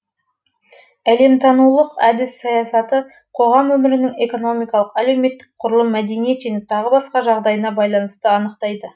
әлеметтанулық әдіс саясатты қоғам өмірінің экономикалық әлеуметтік құрылым мәдениет және тағы басқа жағдайына байланысты анықтайды